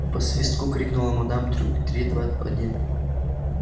по свистку крикнула мадам трюк три два один